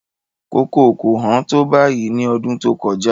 Kókò kò hán tó báyìí ní ọdún tó kọjá.